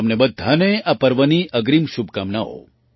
તમને બધાને આ પર્વની અગ્રીમ શુભકામનાઓ